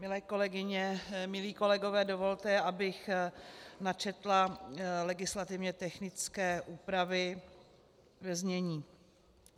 Milé kolegyně, milí kolegové, dovolte, abych načetla legislativně technické úpravy ve znění: